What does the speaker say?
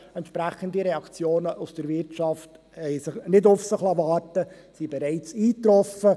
Entsprechende Reaktionen aus der Wirtschaft haben nicht auf sich warten lassen und sind bereits eigetroffen.